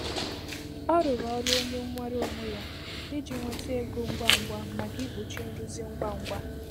Ọ rụrụ ọrụ onye nweere onwe ya iji nweta ego ngwa ngwa maka ikpuchi nrụzi ngwa ngwa.